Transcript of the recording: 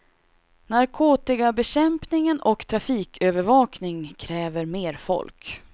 Narkotikabekämpning och trafikövervakning kräver mer folk.